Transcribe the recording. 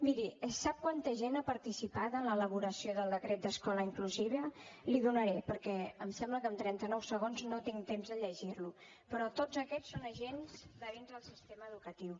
miri sap quanta gent ha participat en l’elaboració del decret d’escola inclusiva l’hi donaré perquè em sembla que amb trenta nou segons no tinc temps de llegir lo però tots aquests són agents de dins del sistema educatiu